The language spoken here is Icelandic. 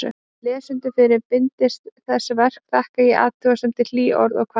Lesendum fyrra bindis þessa verks þakka ég athugasemdir, hlý orð og hvatningu.